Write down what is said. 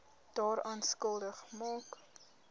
daaraan skuldig maak